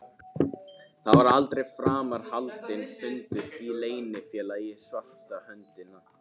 Það var aldrei framar haldinn fundur í Leynifélaginu svarta höndin.